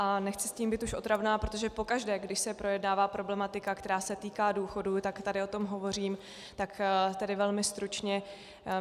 A nechci s tím být už otravná, protože pokaždé, když se projednává problematika, která se týká důchodu, také tady o tom hovořím, tak tedy velmi stručně.